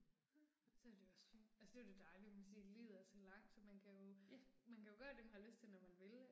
Nej, så er det jo også fint, altså det er jo det dejlige man kan sige at livet er så langt så man kan jo, man kan jo gøre det man har lyst til når man vil